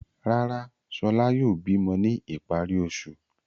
Rárá, Ṣọlá yóò bímọ ní ìparí oṣù.